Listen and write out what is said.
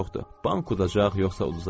Bank udacaq yoxsa uzuzacaq?